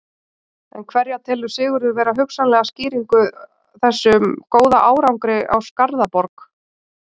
En hverja telur Sigurður vera hugsanlega skýringu þessum góða árangri á Skarðaborg?